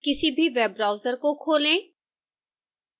किसी भी web browser को खोलें